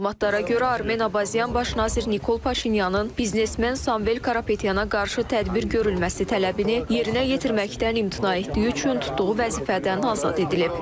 Məlumatlara görə Armen Abazyan baş nazir Nikol Paşinyanın biznesmen Samvel Karapetyana qarşı tədbir görülməsi tələbini yerinə yetirməkdən imtina etdiyi üçün tutduğu vəzifədən azad edilib.